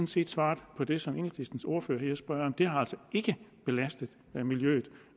set svaret på det som enhedslistens ordfører lige har spurgt om det har altså ikke belastet miljøet